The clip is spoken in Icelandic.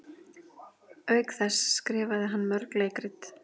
auk þess skrifaði hann mörg leikrit